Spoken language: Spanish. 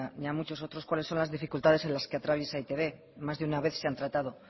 ni a muchos otros cuáles son las dificultades en las que atraviesa e i te be más de una vez se han tratado